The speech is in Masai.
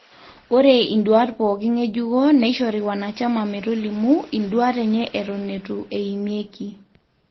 ore induaat pooki ng'ejuko neishori wanachama metolimu induaat enye eton eitu eimieki